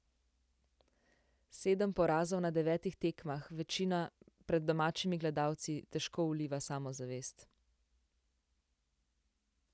Sedem porazov na devetih tekmah, večina pred domačimi gledalci, težko vliva samozavest.